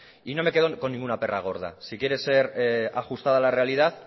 y no me quedo con ninguna perra gorda si quiere ser ajustada a la realidad